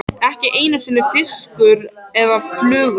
Ekki einu sinni fiskur eða fluga.